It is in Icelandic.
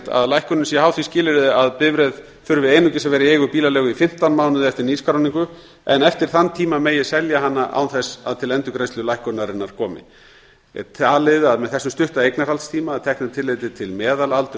að lækkunin sé háð því skilyrði að bifreið þurfi einungis að vera í eigu bílaleigu í fimmtán mánuði eftir nýskráningu en eftir þann tíma megi selja hana án þess að til endurgreiðslu lækkunarinnar komi er talið að með þessum stutta eignarhaldstíma að teknu tilliti til meðalaldurs